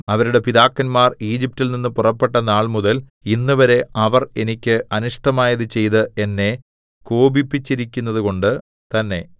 അവരുടെ പിതാക്കന്മാർ ഈജിപ്റ്റിൽ നിന്ന് പുറപ്പെട്ട നാൾമുതൽ ഇന്നുവരെ അവർ എനിക്ക് അനിഷ്ടമായത് ചെയ്ത് എന്നെ കോപിപ്പിച്ചിരിക്കുന്നതുകൊണ്ടു തന്നേ